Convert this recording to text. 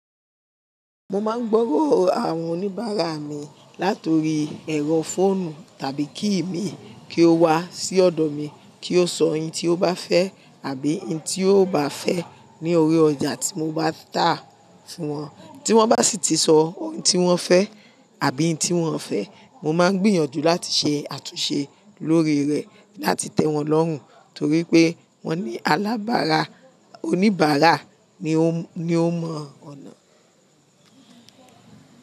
Mo máa ń gbọ́rọ̀ àwọn oníbàárà mi látori ẹ̀rọ fóònù tàbí kíìmi kí ó wá sí ọ̀dọ̀ mi kí ó sọ ẹyin tí ó bá fẹ́ àbí ẹyi tí ò bá fẹ́ ní orí ọjà tí mo bá tà fún wọn. Tí wọ́n bá sì ti sọ oun tí wọ́n fẹ́ àbí oun tí wọ́n ò fẹ́, mo máa gbìyànjú láti ṣe àtúnṣe lórí rẹ̀ láti tẹ́ wọn lọ́hùn torí pé wọ́n ní alábàárà, oníbàárà ni ó mọ ọ̀nà.